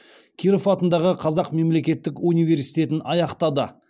киров атындағы қазақ мемлекеттік университетін аяқтады